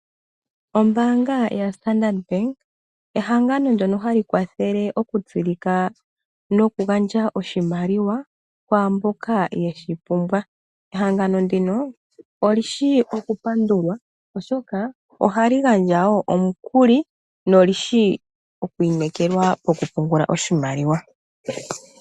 Ombaanga yaStandard Bank ehangano ndyono hali kwathele nokugandja iimaliwa kwaa mboka ye shi pumbwa. Ehangano ndino oli shi okupandulwa, oshoka ohali gandja wo omukuli noli shi okuinekelwa pokupungula oshimaliwa.